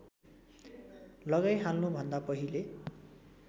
लगाइहाल्नु भन्दा पहिले